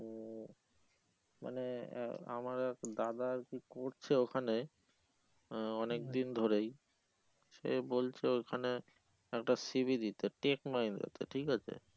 মানে আমার এক দাদা আর কি করছে ওখানে আহ অনেকদিন ধরেই সে বলছে ওইখানে একটা c. v. দিতে tech mahindra তে ঠিক আছে